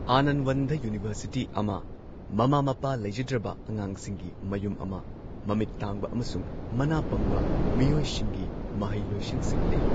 ꯑꯥꯅꯟꯋꯟꯗ university ꯑꯃ, ꯃꯃꯥ ꯃꯄꯥ ꯂꯩꯖꯗ꯭ꯔꯕ ꯑꯉꯥꯡꯁꯤꯡꯒꯤ ꯃꯌꯨꯝ ꯑꯃ, ꯃꯃꯤꯠ ꯇꯥꯡꯕ ꯑꯃꯁꯨꯡ ꯃꯅꯥ ꯄꯪꯕ ꯃꯤꯑꯣꯏꯁꯤꯡꯒꯤ ꯃꯍꯩꯂꯣꯏꯁꯪꯁꯤꯡ ꯂꯩ꯫